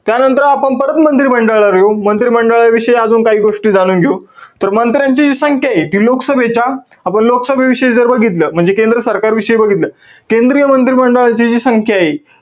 त्यानंतर आपण परत मंत्रिमंडळाकडे येऊ. मंत्रिमंडळाविषयी अजून काही गोष्टी जाणून घेऊ. तर मंत्र्यांची जी संख्याय, ती लोकसभेच्या, आपण लोकसभेविषयी जर बघितलं. म्हणजे केंद्र सरकारविषयी बघितलं. केंद्रीय मंत्रिमंडळाची जी संख्याय,